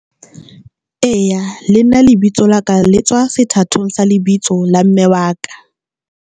Eya, le nna lebitso la ka le tswa sethatong sa lebitso la mme wa ka.